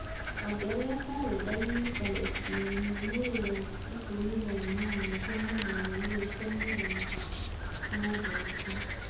ongerera karenda-inĩ tarĩki ĩmwe mweri wa ikũmi thaa inyanya cia mũthenya irio cia mũthenya na njoki